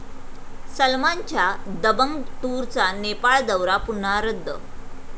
सलमानच्या 'दबंग टूर'चा नेपाळ दौरा पुन्हा रद्द